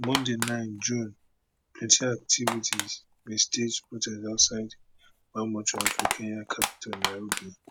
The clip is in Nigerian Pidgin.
monday nine june plenty activities bin stage protest outside one mortuary for kenya capital nairobi